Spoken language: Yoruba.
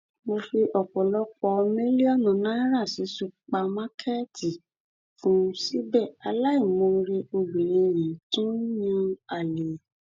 mo fi ọpọlọpọ mílíọnù náírà sí ṣùpàkàkẹẹtì fún un síbẹ aláìmoore obìnrin yìí tún ń yan àlè